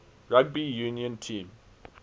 rugby union team